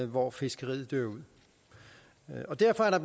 hvor fiskeriet dør ud og derfor er